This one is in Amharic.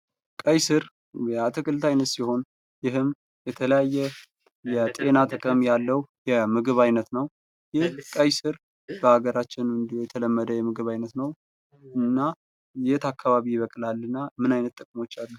ቀይስር የአትክልት አይነት ሲሆን ይህም የተለያየ የጤና ጥቅም ያለው የምግብ አይነት ነው ይህ ቀይስር በአገራችን እንዲለመደ የተለመደ የምግብ አይነት ነው የት አካባቢ ይበቅላል? እና ምን አይነት ጥቅሞች ተጨማሪ?